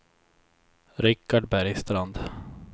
Rikard Bergstrand